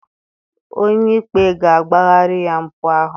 Onye ikpe ga-agbaghara ya mpụ ahụ.